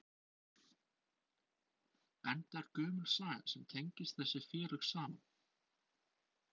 Enda er gömul saga sem tengist þessi félög saman?